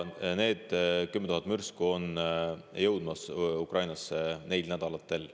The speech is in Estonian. Need 10 000 mürsku jõuavad Ukrainasse lähinädalatel.